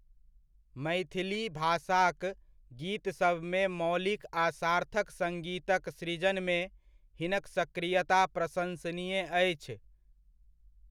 मैथिली भाषाक गीतसभमे मौलिक आ सार्थक सङ्गीतक सृजनमे हिनक सक्रियता प्रशन्सनीय अछि।